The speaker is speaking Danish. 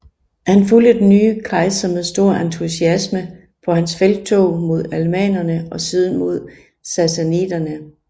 Han fulgte den nye kejser med stor entusiasme på hans felttog mod alemannerne og siden mod sassaniderne